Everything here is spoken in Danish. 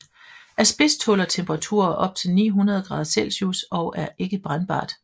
Asbest tåler temperaturer op til 900 grader Celsius og er ikke brændbart